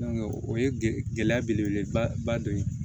o ye gɛlɛya belebele ba ba dɔ ye